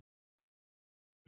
Baddi, hækkaðu í græjunum.